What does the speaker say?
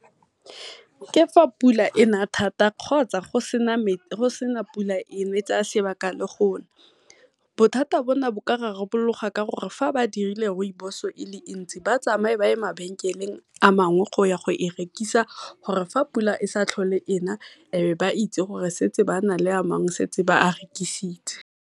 Ke fa pula e na thata kgotsa go sena pula e tsaya le sebaka go na. Bothata bona bo ka rarabologa ka gore fa ba dirile rooibos e le ntsi ba tsamaye ba ye mabenkeleng a mangwe go ya go e rekisa gore fa pula e sa tlhole e na e be ba itse gore go nale a mangwe a ba setseng ba a rekisitse.